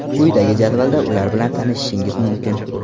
Quyidagi jadvalda ular bilan tanishishingiz mumkin.